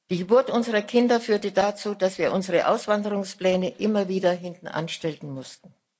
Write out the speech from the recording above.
Die Geburt unserer Kinder führte dazu, dass wir unsere Auswanderungspläne immer wieder hintanstellen mussten.